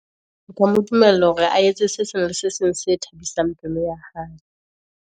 O ka mo dumella hore a etse se sengwe se seng, se thabisang pelo ya hae.